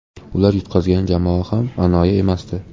Ular yutqazgan jamoa ham anoyi emasdi.